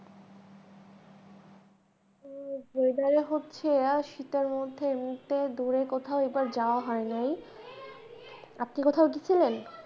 এই weather এ হচ্ছে শীতের মধ্যে এমনিতে দূরে কোথাও এইবার যাওয়া হয় নাই আপনি কোথাও গেছিলেন?